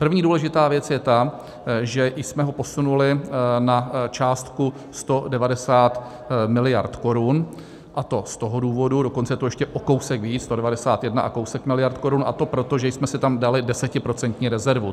První důležitá věc je ta, že jsme ho posunuli na částku 190 miliard korun, a to z toho důvodu - dokonce je to ještě o kousek víc, 191 a kousek miliard korun - a to proto, že jsme si tam dali desetiprocentní rezervu.